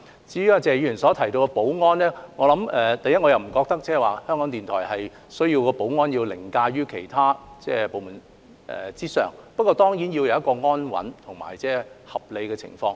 至於謝議員所提到的保安問題，我不覺得港台需要的保安安排要凌駕於其他部門之上，但港台當然要有一個安穩及合理的運作環境。